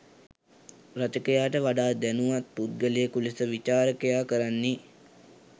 රචකයාට වඩා දැනුවත් පුද්ගලයකු ලෙස විචාරකයා කරන්නේ